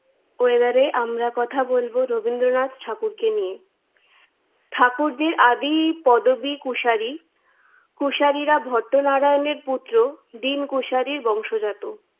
পরিবারে কথা বলব রবীন্দ্রনাথ ঠাকুরকে নিয়ে। ঠাকুরদের আদি পদবী কুশারি। কুশারিরা ভট্টনারায়ণের পুত্র দীন কুশারির বংশজাত।